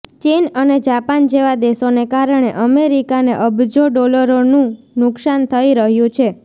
ચીન અને જાપાન જેવા દેશોને કારણે અમેરિકાને અબજો ડોલરનું નુકસાન થઈ રહ્યું છે